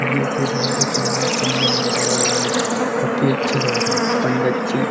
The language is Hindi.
जे हल्दी कंगन चंदन हो रहा है काफी अच्छे लग रहे है पंडत जी।